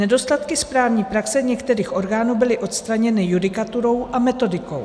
Nedostatky správní praxe některých orgánů byly odstraněny judikaturou a metodikou.